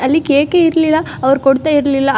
ಅಲ್ಲಿ ಕೇಕ್ ಏ ಇರ್ಲಿಲ್ಲ ಅವರು ಕೊಡ್ತಾ ಇರ್ಲಿಲ್ಲ.